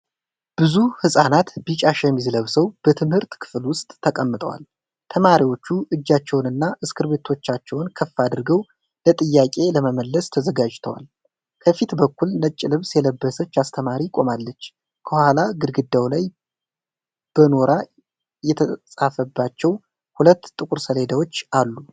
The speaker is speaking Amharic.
ብዙ ህፃናት ቢጫ ሸሚዝ ለብሰው በትምህርት ክፍል ውስጥ ተቀምጠዋል። ተማሪዎቹ እጃቸውንና እስክሪብቶዎቻቸውን ከፍ አድርገው ለጥያቄ ለመመለስ ተዘጋጅተዋል። ከፊት በኩል ነጭ ልብስ የለበሰች አስተማሪ ቆማለች። ከኋላ ግድግዳው ላይ በኖራ የተፃፈባቸው ሁለት ጥቁር ሰሌዳዎች አሉ።